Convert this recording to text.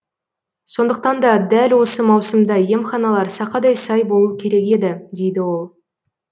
сондықтан да дәл осы маусымда емханалар сақадай сай болу керек еді дейді ол